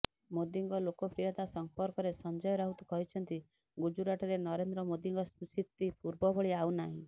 ମୋଦିଙ୍କ ଲୋକପ୍ରିୟତା ସମ୍ପର୍କରେ ସଞ୍ଜୟ ରାଉତ କହିଛନ୍ତି ଗୁଜରାଟରେ ନରେନ୍ଦ୍ର ମୋଦିଙ୍କ ସ୍ଥିତି ପୂର୍ବଭଳି ଆଉ ନାହିଁ